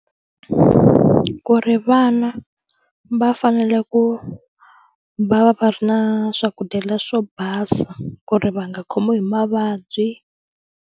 Ku ri vana va fanele ku va va ri na swakudya leswo basa ku ri va nga khomiwi hi mavabyi.